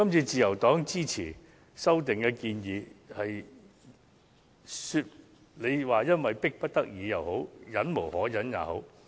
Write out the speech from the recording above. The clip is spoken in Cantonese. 自由黨支持這次的修訂建議，你們也許會認為我們是迫不得已，甚或忍無可忍。